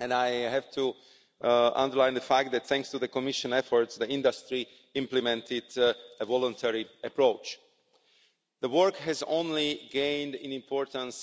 and I have to underline that, thanks to the Commission's efforts, the industry implemented a voluntary approach. The work has only gained in importance